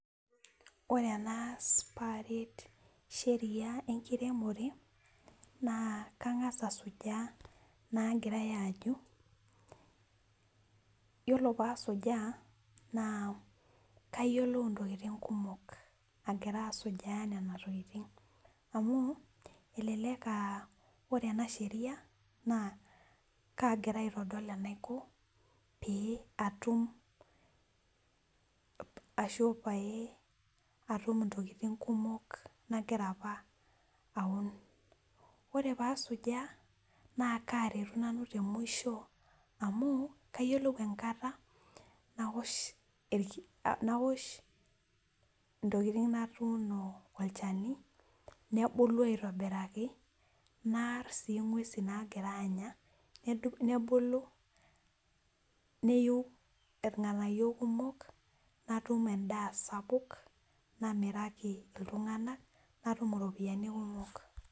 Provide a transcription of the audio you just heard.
ore enaas pee aret sheria enkiremore naa kang'as asujaa inagirai aajo , iyiolo pee asujaa naa kayiolou intokitin kumok agira asujaa nena tokitin amu elelek aa iyiolo enasheria naa kaagira aitodol enaiko pee atu ashu pee atum intokitin kumok nagira apa aun, ore pee asujaa naa kaaretu nanu temusho amu kayiolou enkarna nawosh itokitin natuuno olchani, nebulu aitobiraki naar sii ing'uesin naagira anya nebulu neyu irng'anayio kumok , natum edaa sapuk , namiraki iltung'anak natum iropiyiani kumok.